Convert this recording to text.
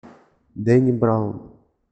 дэнни браун